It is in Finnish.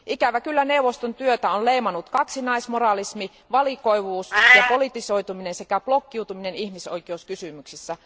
Ikävä kyllä neuvoston työtä on leimannut kaksinaismoralismi, valikoivuus ja politisoituminen sekä blokkiutuminen ihmisoikeuskysymyksissä.